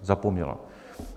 Zapomněla.